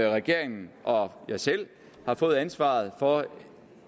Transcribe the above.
regeringen og jeg selv har fået ansvaret for